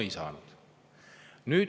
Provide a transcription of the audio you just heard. No ei saanud.